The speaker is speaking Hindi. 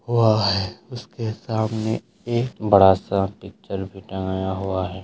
वह उसके सामने एक बड़ा सा पिक्चर भी टंगाया हुआ है।